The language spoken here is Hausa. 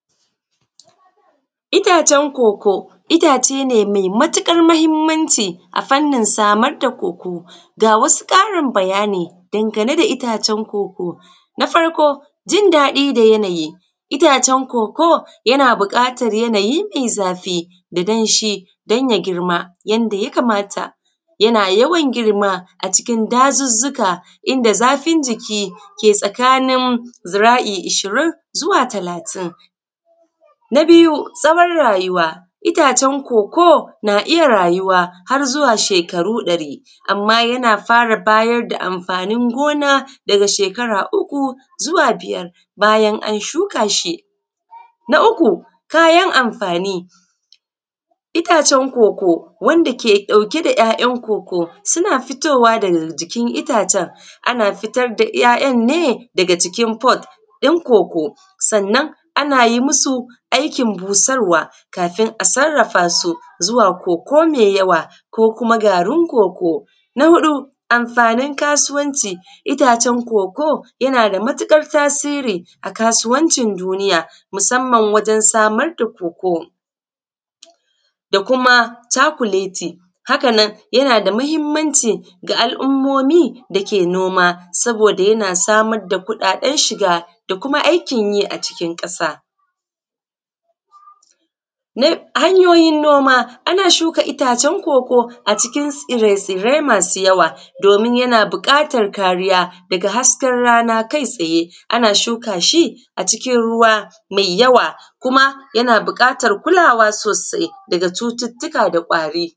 Itacen koko. Itace ne me matuƙar mahinmanci a fannin samar da koko ga wasu ƙarin bayani dangane da itacen koko, na farko jin daɗi da yanayi itacen koko yana buƙatan yanayi mai zafi da danshi dan ya girma yanda ya kamata, yana yawan girma a cikin dazuzzuka, inda zafin jiki ke tsakani zira’i ishirin zuwa talatin. Na biyu zamar firayuwa itacen koko na iya rayuwa har zuwa shekaru ɗari amma yana fara bayar da amfanin gona daga shekara uku zuwa biyar bayan an shuka shi, na uku kayan amfani itacen koko wanda ke ɗauke da kayan koko suna fitowa daga jikin itacen ana fitar da ‘ya’yan ne daga jikin fod yan koko, sannan ana yi musu aikin busarwa kafin a sarrafa su zuwa koko me yawa ko kuma garin koko. Na huɗu amfanin kasuwanci itacen koko yana da matuƙar amfani, a haka nan yana da mahinmanci da al’ummomi da ke noma saboda yana samar da kuɗaɗen shiga da aikin yi a cikin ƙasa. Na hanyoyin noma ana shuka itacen koko a cikin tsirrai masu yawa domin yana buƙatar kariya daga hasken rana kai tsaye ana shuka shi a cikin ruwa mai yawa kuma yana buƙatan kulawa sosai daga cututtuka da kwari.